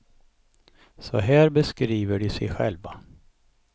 Så här beskriver de sig själva.